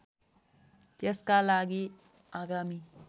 त्यसका लागि आगामी